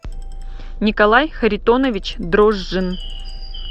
николай харитонович дрожжин